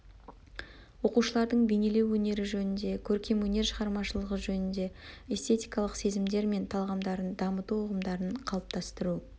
оқушылардың бейнелеу өнері жөнінде көркемөнер шығармашылығы жөнінде эстетикалық сезімдер мен талғамдарын ламыту ұғымдарын қалыптаастыру